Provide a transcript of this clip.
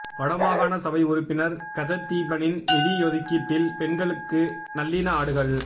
வடமாகாண சபை உறுப்பினர் கஜதீபனின் நிதியொதுக்கீட்டில் பெண்களுக்கு நல்லின ஆடுகள்